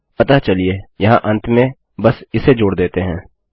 अतःचलिए यहाँ अंत में बस इसे जोड़ देते हैं